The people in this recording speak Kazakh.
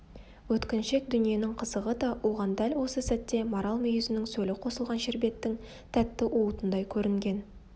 өткіншек дүниенің қызығы да оған дәл осы сәтте марал мүйізінің сөлі қосылған шербеттің тәтті уытындай көрінген